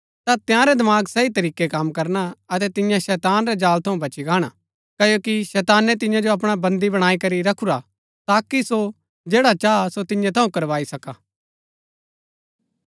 तां तंयारै दमाग सही तरीकै कम करना अतै तिन्या शैतान रै जाल थऊँ बच्ची गाणा क्ओकि शैतानै तिन्या जो अपणा बन्दी बणाई करी रखुरा हा ताकि सो जैड़ा चाह सो तिन्या थऊँ करवाई सका